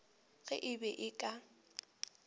ge e be e ka